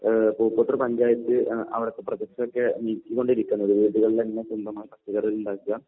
ഏഹ് പൂക്കോട്ടൂർ പഞ്ചായത്ത് അവിടുത്തെ പ്രോജക്ട്സ് ഒക്കെ നീക്കൊണ്ടിരിക്കുന്നത്. വീടുകളിൽ തന്നെ സ്വന്തം ഉണ്ടാക്കുക